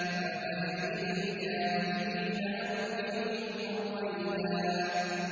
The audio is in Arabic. فَمَهِّلِ الْكَافِرِينَ أَمْهِلْهُمْ رُوَيْدًا